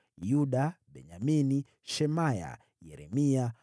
Yuda, Benyamini, Shemaya, Yeremia,